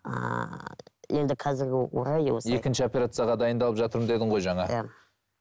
ааа енді қазіргі орай осы екінші операцияға дайындалып жатырмын дедің ғой жаңа иә